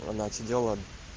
она отсидела